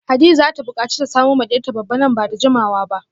Hadiza zata bukaci ta samo ma diyarta babba nan bada jimawa ba